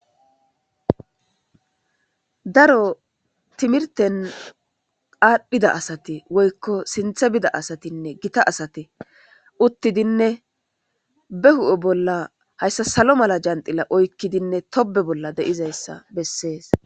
daro timirten aadhdhida asate woykko sinthe bida asatinne gita asate uttidinne be hu'e bolla hayssa salo mala janxila oykkidinne tobe bolla de'izayssa bessees